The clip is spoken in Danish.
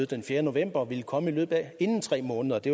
den fjerde november ville komme inden tre måneder og det